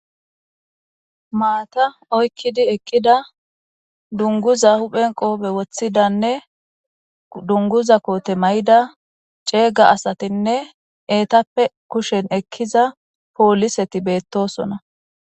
maata oykkidi ekkida dunguza huphen qoobe woththidanne dunguza koote may7ida ceega asatinne eetappe kushen ekkiza pooliseti beettosona